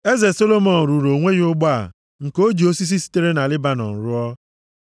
Eze Solomọn rụrụ onwe ya ụgbọ a nke o ji osisi sitere Lebanọn rụọ.